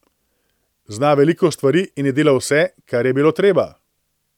Zna veliko stvari in je delal vse, kar je bilo treba.